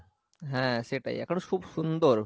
হ্যাঁ সেটাই এখন খুব সুন্দর